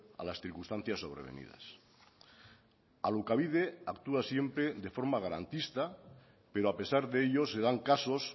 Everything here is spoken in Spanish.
a las circunstancias sobrevenidas alokabide actúa siempre de forma garantista pero a pesar de ello se dan casos